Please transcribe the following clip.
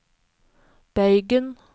bøygen